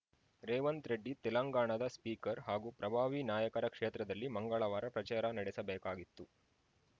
ರೇವಂತ್‌ ರೆಡ್ಡಿ ತೆಲಂಗಾಣದ ಸ್ಪೀಕರ್‌ ಹಾಗೂ ಪ್ರಭಾವಿ ನಾಯಕರ ಕ್ಷೇತ್ರದಲ್ಲಿ ಮಂಗಳವಾರ ಪ್ರಚಾರ ನಡೆಸಬೇಕಾಗಿತ್ತು